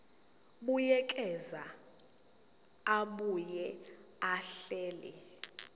buyekeza abuye ahlele